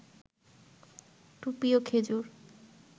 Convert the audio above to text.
টুপি, ও খেজুর